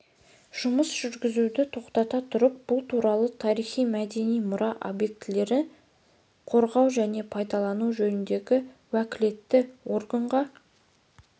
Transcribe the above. жұмыс жүргізуді тоқтата тұрып бұл туралы тарихи-мәдени мұра объектілерін қорғау және пайдалану жөніндегі уәкілетті органға